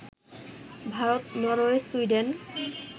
Bharat, Norway, Sweden